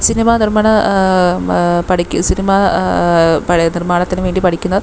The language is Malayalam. സിനിമ നിർമ്മാണ ങ്ങ്ഹ് പടി സിനിമ ആ നിർമാണത്തിന് വേണ്ടി പഠിക്കുന്ന--